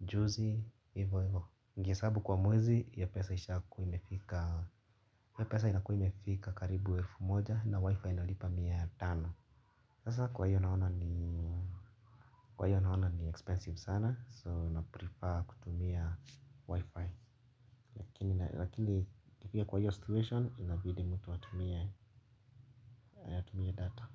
juzi, ivo ivo ningehesabu kwa mwezi, hiyo pesa ishakuwa imefika, hiyo pesa inakuwa imefika karibu elfu moja na wifi nalipa mia tano. Sasa kwa hiyo naona kwa hiyo naona ni expensive sana, so na prefer kutumia wifi. Lakini ikifika kwa hiyo situation inabidi mtu atumie data.